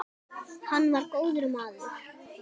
Hann var góður maður.